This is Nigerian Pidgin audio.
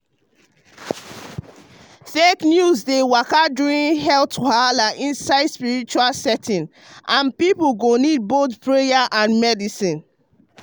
fake news dey waka during health wahala inside spiritual setting and people go need both prayer and medicine.